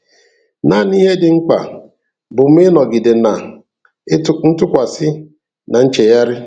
Naanị ihe dị mkpa bụ mụ ịnọgide na ntụkwasị na nchegharị.